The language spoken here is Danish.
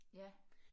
Ja